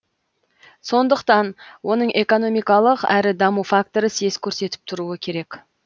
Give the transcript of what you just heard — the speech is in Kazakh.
сондықтан оның экономикалық әрі даму факторы сес көрсетіп тұруы керек